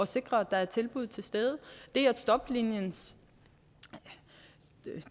sikre at der er tilbud til stede det at stopliniens